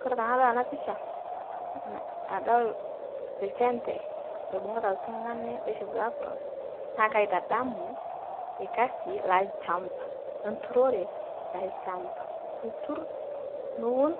Kore tanadol ana pisha, na aldol lchembe loibung'uta ltung'ani loishopito Apron naa kaitadamu, lkasi lachamba, leturore elchamba, iturr, niun